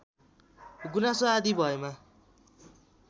गुनासो आदि भएमा